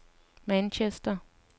Manchester